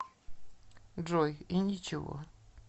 джой и ничего